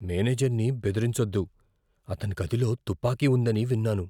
మేనేజర్ని బెదిరించొద్దు. అతని గదిలో తుపాకీ ఉందని విన్నాను.